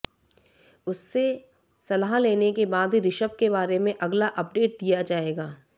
उससे सलाह लेने के बाद ही ऋषभ के बारे में अगला अपडेट दिया जाएगा